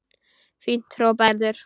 Fínt hrópaði Gerður.